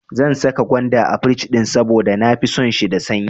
Zan saka gwanda a firij saboda na fi son shi da sanyi.